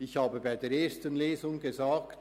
Im Rahmen der ersten Lesung habe ich gesagt: